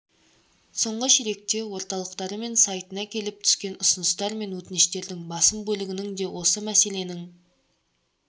соңғы ширекте орталықтары мен сайтына келіп түскен ұсыныстар мен өтініштердің басым бөлігінің де осы мәселенің